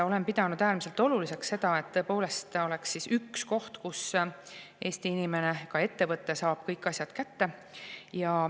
Olen pidanud äärmiselt oluliseks seda, et tõepoolest oleks üks koht, kus Eesti inimene, ka ettevõte, saab kõik asjad kätte.